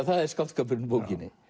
það er skáldskapurinn í bókinni